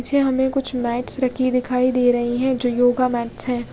पीछे हमे कुछ मैट्स रखे दिखाई दे रहे है जो योगा मैट्स है।